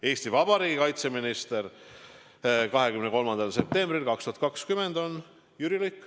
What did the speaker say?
Eesti Vabariigi kaitseminister 23. septembril 2020 on Jüri Luik.